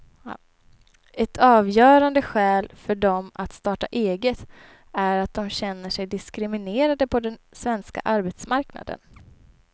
Ett avgörande skäl för dem att starta eget är att de känner sig diskriminerade på den svenska arbetsmarknaden.